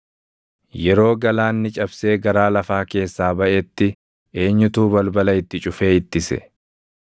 “Yeroo galaanni cabsee garaa lafaa keessaa baʼetti eenyutu balbala itti cufee ittise?